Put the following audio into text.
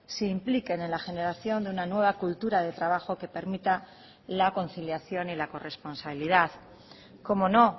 se impliquen en la generación de una nueva cultura de trabajo que permita la conciliación y la corresponsabilidad como no